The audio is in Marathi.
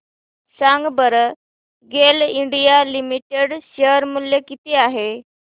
सांगा बरं गेल इंडिया लिमिटेड शेअर मूल्य किती आहे